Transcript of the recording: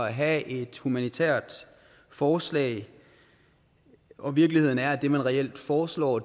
at have et humanitært forslag og virkeligheden er at det man reelt foreslår